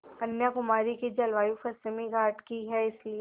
कन्याकुमारी की जलवायु पश्चिमी घाट की है इसलिए